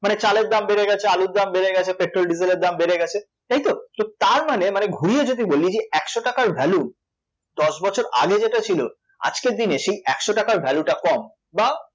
মানে চালের দাম বেড়ে গেছে আলুর দাম বেড়ে গেছে, পেট্রোল ডিজেলের দাম বেড়ে গেছে, তাই তো? তো তার মানে মানে ঘুরিয়ে যদি বলি যে একশ টাকার value দশ বছর আগে যেটা ছিল, আজকের দিনে সেই একশ টাকার value টা কম, বা